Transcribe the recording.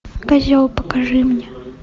козел покажи мне